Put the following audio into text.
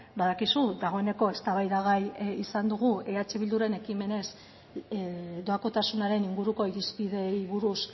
badakizu dagoeneko eztabaidagai izan dugu eh bilduren ekimenez doakotasunaren inguruko irizpideei buruz